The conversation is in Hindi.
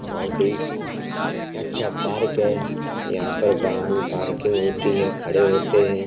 बहुत ही अच्छा पार्क है। यहाँ पर वाहन पार्किंग होती है। खड़े होते हैं।